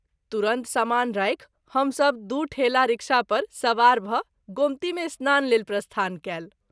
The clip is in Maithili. तुरत समान राखि हम सभ दू ठेला रिक्शा पर सबार भ’ गोमती मे स्नान लेल प्रस्थान कएल।